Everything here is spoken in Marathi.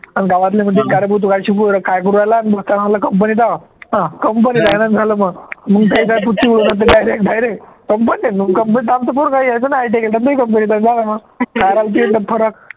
अन गावातले म्हणतील का रे भाऊ तू काय शिकू काय करू राहिला company आहे ना झालं मग direct direct company company आमचं पोरगं company